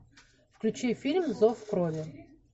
включи фильм зов крови